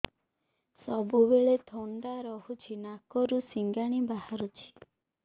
ସବୁବେଳେ ଥଣ୍ଡା ରହୁଛି ନାକରୁ ସିଙ୍ଗାଣି ବାହାରୁଚି